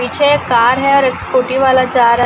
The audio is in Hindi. पीछे एक कार है और स्कूटी वाला जा रहा--